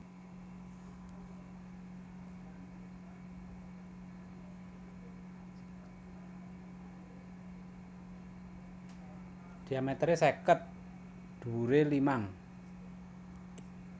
Diamèteré seket dhuwuré limang